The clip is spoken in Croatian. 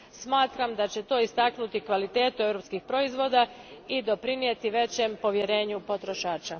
Smatram da će to istaknuti kvalitetu europskih proizvoda i doprinijeti većem povjerenju potrošača.